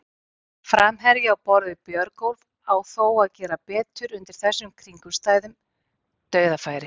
Framherji á borð við Björgólf á þó að gera betur undir þessum kringumstæðum, dauðafæri!